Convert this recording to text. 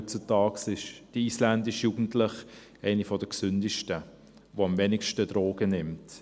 Heutzutage ist die isländische Jugend eine der gesündesten, die am wenigsten Drogen nimmt.